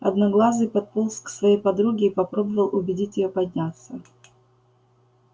одноглазый подполз к своей подруге и попробовал убедить её подняться